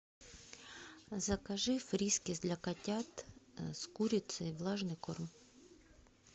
закажи фрискис для котят с курицей влажный корм